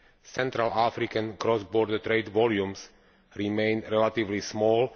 Central African cross border trade volumes remain relatively small.